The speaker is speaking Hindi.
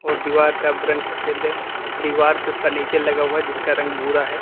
और दीवार का रंग सफेद है। दीवार पे फर्नीचर लगा हुआ है जिसका रंग भूरा है।